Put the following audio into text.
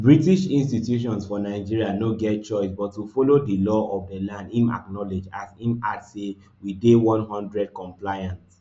british institutions for nigeria no get choice but to follow di law of di land im acknowledge as im add say we dey one hundred compliant